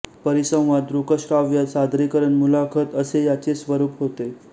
परिसंवाद दृकश्राव्य सादरीकरण मुलाखत असे याचे स्वरूप होते